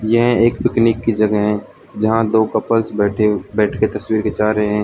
यह एक पिकनिक की जगह है जहां दो कपल्स बैठे बैठ के तस्वीर खींचा रहे हैं।